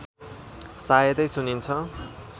सायदै सुनिन्छ